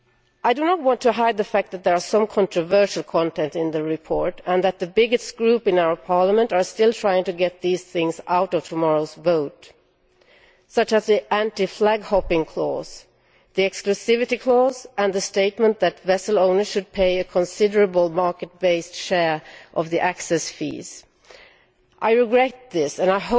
I do not want to hide the fact that there is some controversial content in the report and that the biggest group in Parliament is still trying to get these things out of tomorrow's vote the anti flag hopping clause, for example, the exclusivity clause and the statement that vessel owners should pay a considerable market based share of the access fees. I regret this and